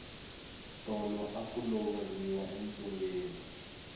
tolo aku lovoriwa entsungeni